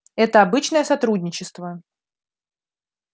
это обычное сотрудничество